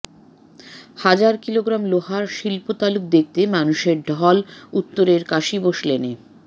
হাজার কিলোগ্রাম লোহার শিল্পতালুক দেখতে মানুষের ঢল উত্তরের কাশীবোস লেনে